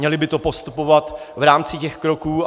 Měli by to postupovat v rámci těch kroků.